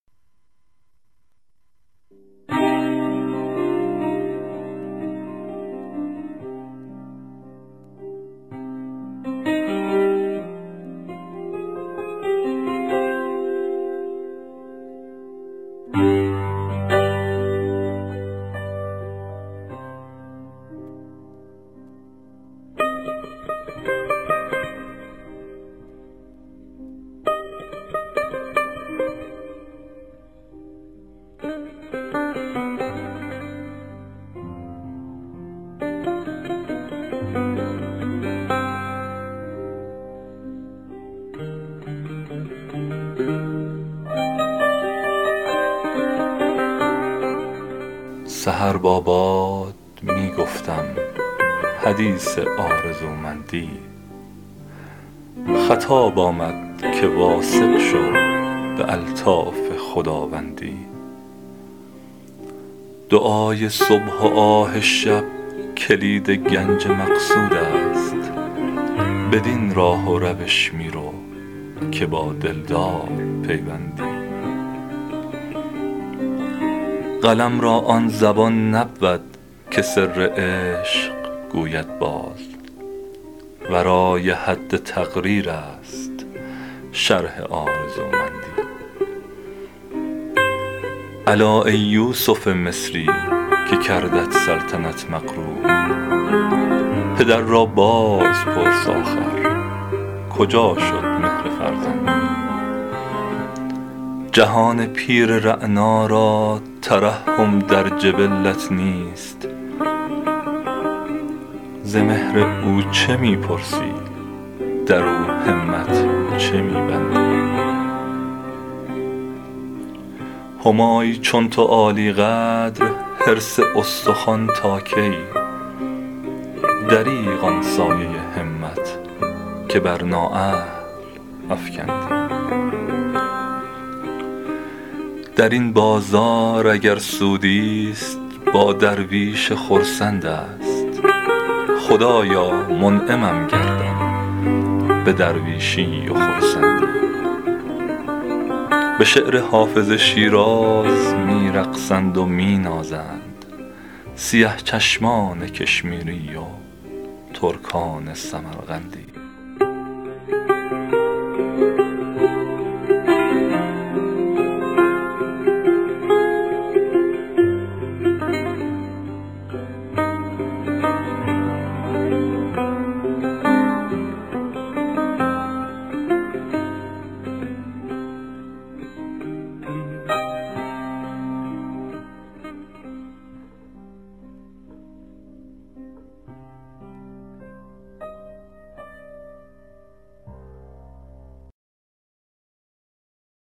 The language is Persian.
سحر با باد می گفتم حدیث آرزومندی خطاب آمد که واثق شو به الطاف خداوندی دعای صبح و آه شب کلید گنج مقصود است بدین راه و روش می رو که با دلدار پیوندی قلم را آن زبان نبود که سر عشق گوید باز ورای حد تقریر است شرح آرزومندی الا ای یوسف مصری که کردت سلطنت مغرور پدر را باز پرس آخر کجا شد مهر فرزندی جهان پیر رعنا را ترحم در جبلت نیست ز مهر او چه می پرسی در او همت چه می بندی همایی چون تو عالی قدر حرص استخوان تا کی دریغ آن سایه همت که بر نااهل افکندی در این بازار اگر سودی ست با درویش خرسند است خدایا منعمم گردان به درویشی و خرسندی به شعر حافظ شیراز می رقصند و می نازند سیه چشمان کشمیری و ترکان سمرقندی